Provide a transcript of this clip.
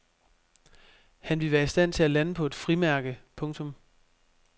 Han ville være i stand til at lande på et frimærke. punktum